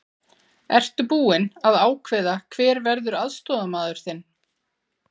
Ertu búinn að ákveða hver verður aðstoðarmaður þinn?